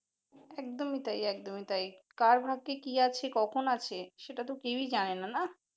একদম ই তাই একদম ই তাই কার ভাগ্যে কি আছে কখন আছে সেটা তো কেউই জানে নাই